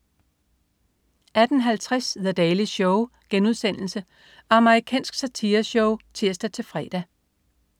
18.50 The Daily Show.* Amerikansk satireshow (tirs-fre)